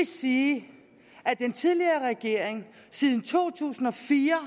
sige at den tidligere regering siden to tusind og fire